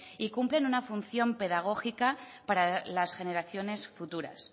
y cumplen una función pedagógica para las generaciones futuras